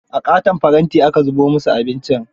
A ƙaton faranti aka zubo musu abincin.